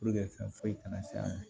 fɛn foyi kana se a ma